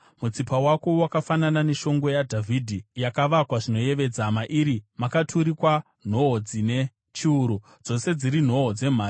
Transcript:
Mutsipa wako wakafanana neshongwe yaDhavhidhi yakavakwa zvinoyevedza. Mairi makaturikwa nhoo dzine chiuru, dzose dziri nhoo dzemhare.